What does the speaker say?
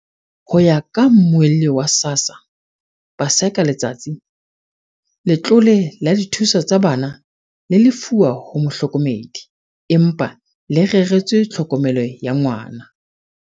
Ho ya ka Mmuelli wa SASSA, Paseka Letsatsi, letlole la dithuso tsa bana le lefuwa ho mohlokomedi, empa le reretswe tlhokomelo ya ngwana.